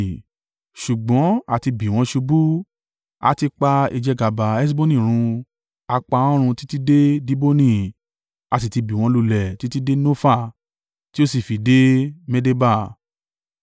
“Ṣùgbọ́n àti bì wọ́n ṣubú; a ti pa ìjẹgàba Heṣboni run, a pa wọ́n run títí dé Diboni. A sì ti bì wọ́n lulẹ̀ títí dé Nofa, tí ó sì fi dé Medeba.”